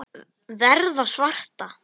Verða svarta.